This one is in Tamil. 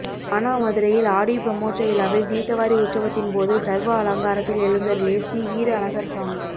மானாமதுரையில் ஆடிப் பிரமோற்ச விழாவில் தீர்த்தவாரி உற்சவத்தின்போது சர்வ அலங்காரத்தில் எழுந்தருளிய ஸ்ரீ வீர அழகர் சுவாமி